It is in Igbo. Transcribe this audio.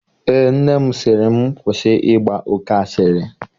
Eé, nne m sị m kwụsị ịgba oke asịrị